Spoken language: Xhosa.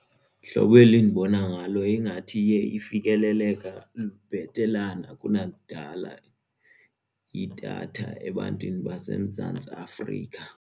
Hlobo eli endibona ngalo ingathi iye ifikeleleka bhetelana kunakudala idatha ebantwini baseMzantsi Afrika.